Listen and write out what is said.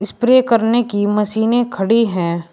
Pray करने की मशीनें खड़ी है।